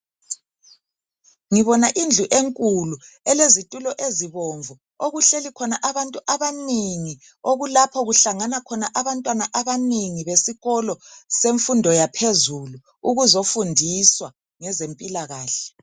Ngibona indlu enkulu elezitulo ezibomvu okuhleli khona abantu abanengi okulapho kuhlangana khona abantwana abanengi besikolo semfundo yaphezulu ukuzofundiswa ngezempilakahle.